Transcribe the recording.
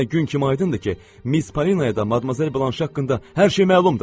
İndi mənə gün kimi aydındır ki, Miz Parinaya da Madmazel Blanşe haqqında hər şey məlumdur.